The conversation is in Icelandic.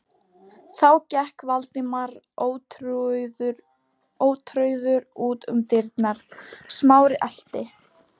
Þá gekk Valdimar ótrauður út um dyrnar, Smári elti.